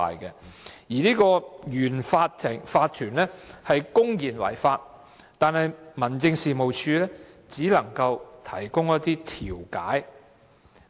對於原有法團公然違法，民政事務處只可提供調解，